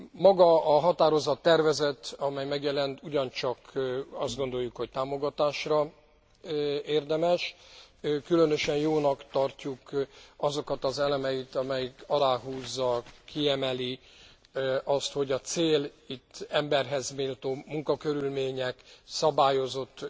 Maga a határozattervezet, amely megjelent ugyancsak azt gondoljuk, hogy támogatásra érdemes különösen jónak tartjuk azokat az elemeiket, amelyek aláhúzzák, kiemelik azt, hogy a cél itt emberhez méltó munkakörülmények, szabályozott